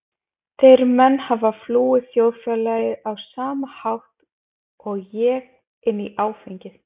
Þeir menn hafa flúið þjóðfélagið á sama hátt og ég- inn í áfengið.